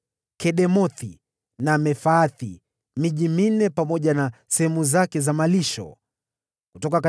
Kedemothi na Mefaathi, pamoja na sehemu zake za malisho, ilikuwa miji minne;